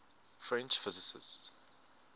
french physicists